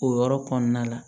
O yɔrɔ kɔnɔna la